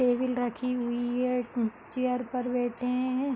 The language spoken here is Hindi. टेबिल रखी हुई है। उ चेयर पर बैठे हैं।